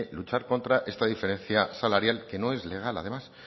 luchar contra esta diferencia salarial que no es legal además